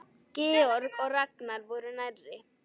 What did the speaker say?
Georg og Ragnar voru nærri.